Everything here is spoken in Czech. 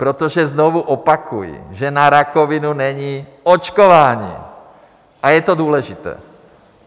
Protože znovu opakuji, že na rakovinu není očkování a je to důležité.